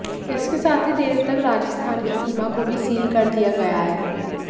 इसके साथ ही देर रात राजस्थान की सीमा को भी सील कर दिया गया है